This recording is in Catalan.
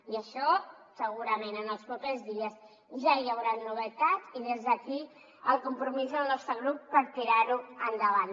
i d’això segurament en els propers dies ja hi hauran novetats i des d’aquí el compromís del nostre grup per tirar ho endavant